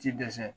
Ti dɛsɛ